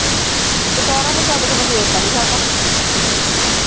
ਦੁਪਹੇਰਾ ਦਾ ਛੱਡ ਮੈਂ ਸਵੇਰ ਦਾ ਨੀ ਖਾਧਾ